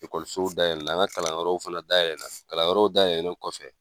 Ekɔlisow dayɛlɛ na, an ga kalanyɔrɔw fana dayɛlɛ na , kalanyɔrɔw dayɛlɛlen kɔfɛ